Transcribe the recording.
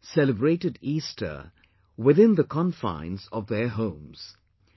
celebrated Easter within the confines of their homes